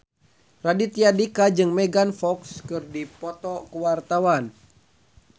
Raditya Dika jeung Megan Fox keur dipoto ku wartawan